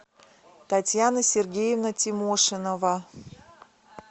татьяна сергеевна тимошинова